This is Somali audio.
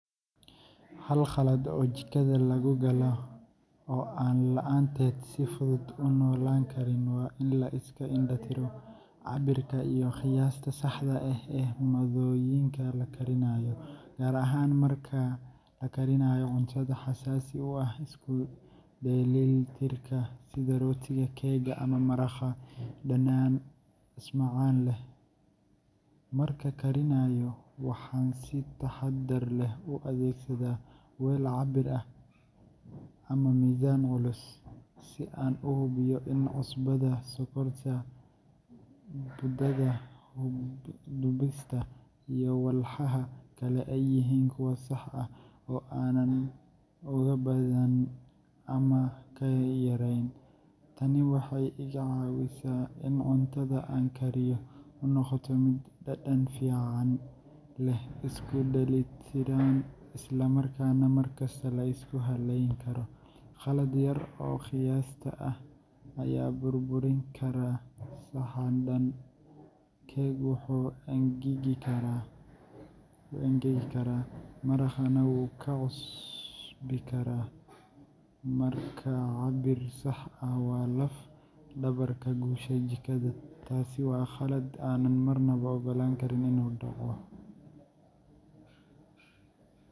Hal qalad oo jikada laga galo oo aan la’aanteed si fudud u noolaan karin waa in la iska indha-tiro cabbirka iyo qiyaasta saxda ah ee maaddooyinka la karinayo, gaar ahaan marka la karinayo cuntooyin xasaasi u ah isku-dheellitirka sida rootiga, keega, ama maraqa dhanaan smacaan leh. Sida aan u isticmaalo: Markaan karinayo, waxaan si taxaddar leh u adeegsadaa weel cabbir ah measuring cups and spoons ama miisaan culus kitchen scale, si aan u hubiyo in cusbadu, sokorta, budada dubista, iyo walxaha kale ay yihiin kuwa sax ah oo aanan uga badin ama ka yarayn. Tani waxay iga caawisaa in cuntada aan kariyo u noqoto mid dhadhan fiican leh, isku dheelitiran, isla markaana mar kasta la isku halleyn karo. Qalad yar oo qiyaasta ah ayaa burburin kara saxan dhan – keeg wuu engegi karaa, maraqna wuu ka cusbi karaa, markaa cabbir sax ah waa laf-dhabarta guusha jikada. Taasi waa qalad aanan marnaba ogolaan karin inuu dhaco.